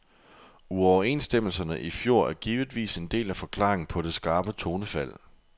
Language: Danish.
Uoverenstemmelserne i fjor er givetvis en del af forklaringen på det skarpe tonefald.